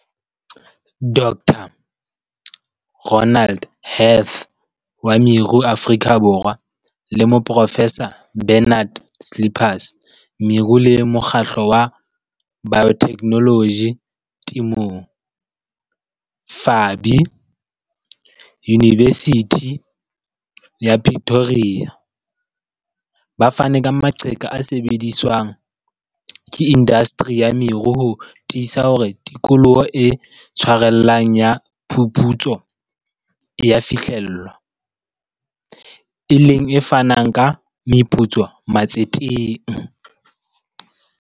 Dr Ronald Heath, wa meru Afrika Borwa, le moprofesa Bernard Slippers, Meru le Mokgatlo wa Biotechnology Temong, FABI, Unibesithi ya Pretoria, ba fane ka maqheka a sebediswang ke indasteri ya meru ho tiisa hore tikoloho e tshwarellang ya phuputso e a fihlellwa, e leng e fanang ka meputso matseteng.